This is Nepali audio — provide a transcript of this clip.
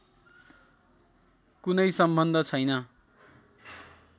कुनै सम्बन्ध छैन